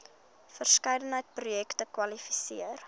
verskeidenheid projekte kwalifiseer